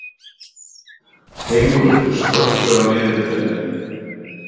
Fengur, slökktu á niðurteljaranum.